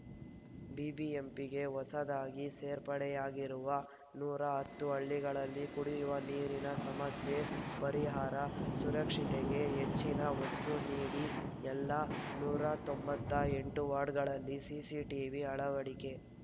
ಬಿಬಿಎಂಪಿಗೆ ಹೊಸದಾಗಿ ಸೇರ್ಪಡೆಯಾಗಿರುವ ನೂರ ಹತ್ತು ಹಳ್ಳಿಗಳಲ್ಲಿ ಕುಡಿಯುವ ನೀರಿನ ಸಮಸ್ಯೆ ಪರಿಹಾರ ಸುರಕ್ಷತೆಗೆಹೆಚ್ಚಿನ ಒತ್ತು ನೀಡಿ ಎಲ್ಲ ನೂರ ತೊಂಬತ್ತ್ ಎಂಟು ವಾರ್ಡ್‌ಗಳಲ್ಲಿ ಸಿಸಿಟಿವಿ ಅಳವಡಿಕೆ